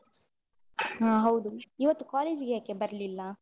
ಹಾ ಹೌದು. ಇವತ್ತು college ಗೆ ಯಾಕೆ ಬರ್ಲಿಲ್ಲ?